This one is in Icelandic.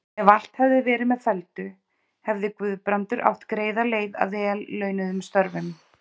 Ef allt hefði verið með felldu, hefði Guðbrandur átt greiða leið að vel launuðum störfum.